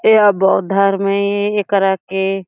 एहा बौद्ध धर्म ए एकरा के--